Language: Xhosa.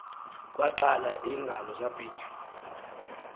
kwaqala iingalo zabhitya